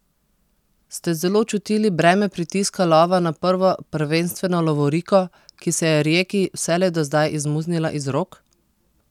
Ste zelo čutili breme pritiska lova na prvo prvenstveno lovoriko, ki se je Rijeki vselej do zdaj izmuznila iz rok?